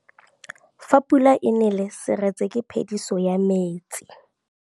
Fa pula e nelê serêtsê ke phêdisô ya metsi.